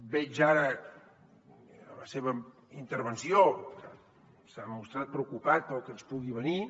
veig ara en la seva intervenció que s’ha mostrat preocupat pel que ens pugui venir